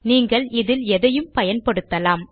நீங்கள் இதில் எதையும் பயன்படுத்தலாம்